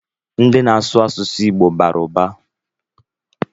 Ndi na-asụ asụsụ Igbo bara ụba